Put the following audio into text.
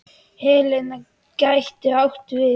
Helena getur átt við